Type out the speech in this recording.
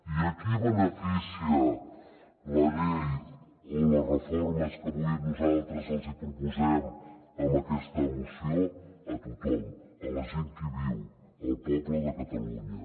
i a qui beneficia la llei o les reformes que avui nosaltres els hi proposem amb aquesta moció a tothom a la gent que hi viu al poble de catalunya